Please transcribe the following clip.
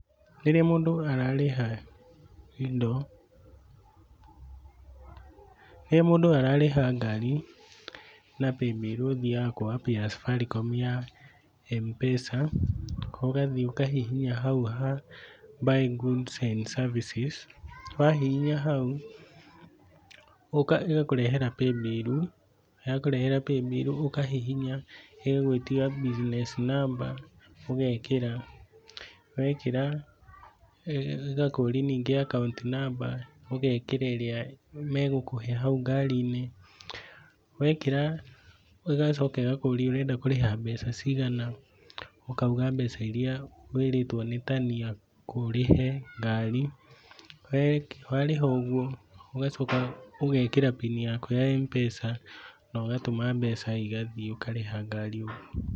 Rĩrĩa mũndũ ararĩha indo, rĩrĩa mũndũ ararĩha ngari na paybill ũthiaga kwa app ya Safaricom ya Mpesa, ũgathiĩ ũkahihinya hau ha Buy Goods and Services. Wahihinya hau, ĩgakũrehera Paybill, yakurehera paybill ũkahihinya, igagwĩgĩtia Business Number ũgekĩra. Wekĩra ĩgakũria ningĩ Account Number, ũgekĩra ĩrĩa megũkũhe hau ngari-inĩ. Wekĩra ĩgacooka ĩgakũũria ũrenda kũrĩha mbeca cigana, ũkauga mbeca iria wĩrĩtwo ni tani ũrĩhe ngari. Warĩha ũguo ũgacoka ũgekĩra PIN yaku ya Mpesa, na ũgatũma mbeca igathiĩ ũkarĩha ngari.